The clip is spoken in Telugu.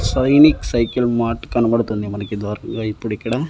సైనిక్ సైకిల్ మార్ట్ కనబడుతుంది మనకి ద్వారం లో ఇప్పుడు ఇక్కడ.